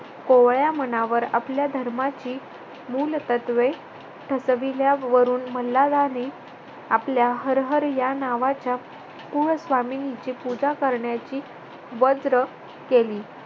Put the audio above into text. कोवळ्या मनावर आपल्या धर्माची मुलतत्वे ठसविल्या वरून मल्हाराणे आपल्या हर हर या नावाच्या कुलस्वामिनीची पूजा करण्याचे वज्र केली.